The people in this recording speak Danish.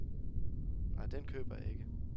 Nej, den køber jeg ikke.